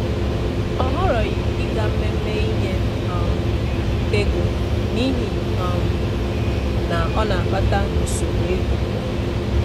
Ọ họrọghị ịga mmemme iṅye um ego n’ihi um na ọ na-akpata nsogbu ego.